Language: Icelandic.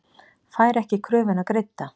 Fær ekki kröfuna greidda